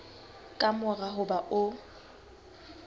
ka mora ho ba o